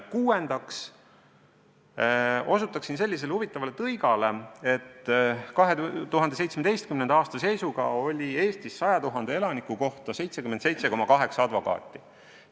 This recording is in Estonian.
Kuuendaks osutan sellisele huvitavale tõigale, et 2017. aasta seisuga oli Eestis 100 000 elaniku kohta 77,8 advokaati.